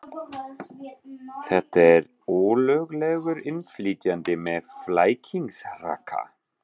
Þetta er ólöglegur innflytjandi með flækingsrakka.